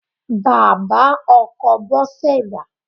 Bàbá ọkọ Bose dà?